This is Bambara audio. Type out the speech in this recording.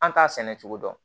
An t'a sɛnɛ cogo dɔn